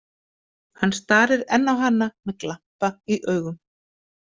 Hann starir enn á hana með glampa í augum.